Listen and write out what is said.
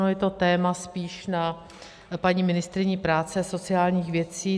Ono je to téma spíše na paní ministryni práce a sociálních věcí.